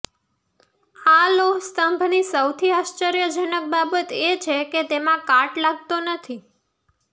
આ લોહ સ્તંભની સૌથી આશ્ચર્યજનક બાબત એ છે કે તેમાં કાટ નથી લાગતો